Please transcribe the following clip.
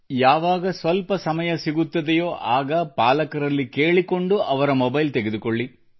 ಯಾವಾಗ ಸ್ವಲ್ಪ ಸಮಯ ಸಿಗುತ್ತದೆಯೋ ಆಗ ಪಾಲಕರಲ್ಲಿ ಕೇಳಿಕೊಂಡು ಮೊಬೈಲ್ ತೆಗೆದುಕೊಳ್ಳಿ